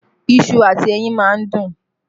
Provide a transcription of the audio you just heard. Iṣu àti ẹyin máa ń dùn